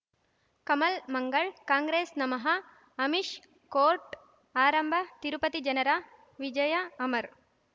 ಕಮಲ್ ಮಂಗಳ್ ಕಾಂಗ್ರೆಸ್ ನಮಃ ಅಮಿಷ್ ಕೋರ್ಟ್ ಆರಂಭ ತಿರುಪತಿ ಜನರ ವಿಜಯ ಅಮರ್